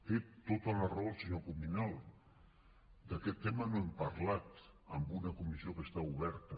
té tota la raó el senyor cuminal d’aquest tema no n’hem parlat en una comissió que està oberta